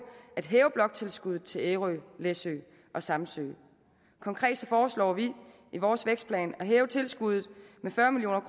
at hæve bloktilskuddet til ærø læsø og samsø konkret foreslår vi i vores vækstplan at hæve tilskuddet med fyrre million